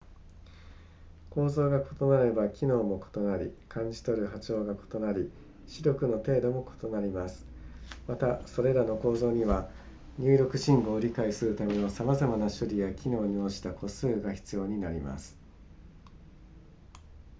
構造が異なれば機能も異なり感じ取る波長が異なり視力の程度も異なりますまたそれらの構造には入力信号を理解するためのさまざまな処理や機能に応じた個数が必要になります